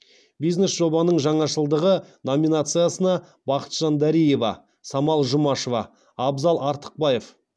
бизнес жобаның жаңашылдығы номинациясына бақытжан дариева самал жұмашева абзал артықбаев